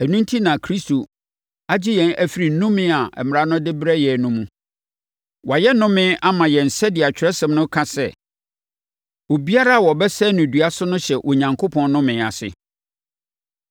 Ɛno enti na Kristo agye yɛn afiri nnome a Mmara no de brɛɛ yɛn no mu. Wayɛ nnome ama yɛn sɛdeɛ Atwerɛsɛm no ka sɛ, “Obiara a wɔbɛsɛn no dua so no hyɛ Onyankopɔn nnome ase.”